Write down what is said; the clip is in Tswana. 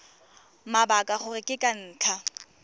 mabaka gore ke ka ntlha